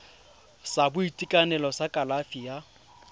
sa boitekanelo sa kalafi ya